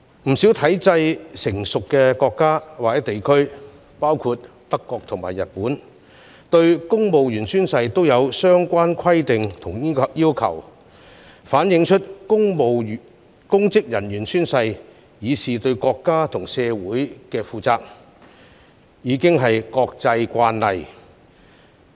不少體制成熟的國家或地區，包括德國和日本，對公務員宣誓也有相關規定和要求，反映公職人員宣誓以示對國家和社會負責，早已是國際慣例。